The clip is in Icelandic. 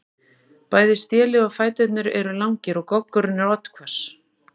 Bæði stélið og fæturnir eru langir og goggurinn er oddhvass.